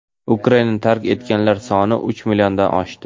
Ukrainani tark etganlar soni uch milliondan oshdi.